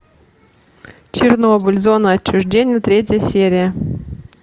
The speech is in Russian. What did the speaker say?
чернобыль зона отчуждения третья серия